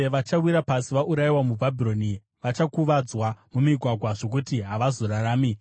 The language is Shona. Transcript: Vachawira pasi vaurayiwa muBhabhironi, vachakuvadzwa mumigwagwa zvokuti havazorarami.